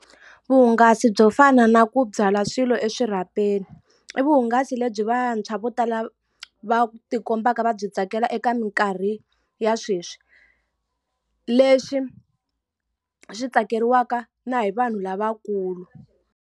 Vuhungasi byo fana na ku byala swilo eswirhapeni. I vuhungasi lebyi vantshwa vo tala va ti kombaka va byi tsakela eka minkarhi ya sweswi. Leswi swi tsakeriwaka na hi vanhu lavakulu.